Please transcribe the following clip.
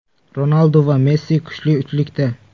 Ronaldu va Messi kuchli uchlikda.